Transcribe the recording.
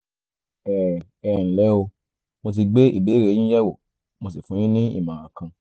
ẹ ẹ nlẹ́ o mo ti gbé ìbéèrè yín yẹ̀wò mo sì fún yín ní ìmọ̀ràn kan